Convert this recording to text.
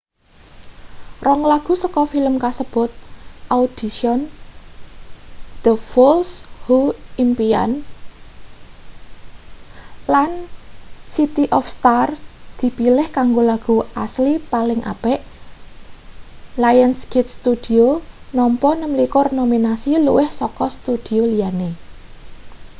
rong lagu saka film kasebut audition the fools who impian lan city of stars dipilih kanggo lagu asli paling apik. lionsgate studio nampa 26 nominasi - luwih saka studio liyane